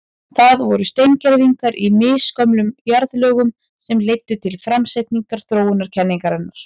Það voru steingervingar í misgömlum jarðlögum sem leiddu til framsetningar þróunarkenningarinnar.